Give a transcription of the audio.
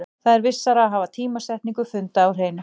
Það er vissara að hafa tímasetningu funda á hreinu.